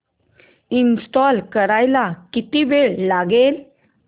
install करायला किती वेळ लागेल